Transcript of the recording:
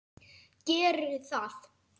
Geri það.